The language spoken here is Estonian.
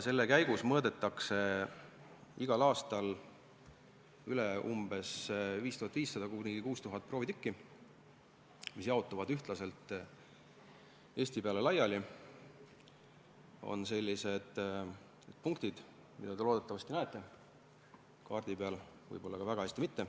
Selle käigus mõõdetakse igal aastal umbes 5500–6000 proovitükki, mis jaotuvad ühtlaselt üle Eesti.